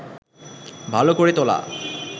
ভালো করে তোলা